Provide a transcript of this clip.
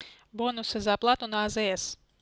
бонусы за оплату на азс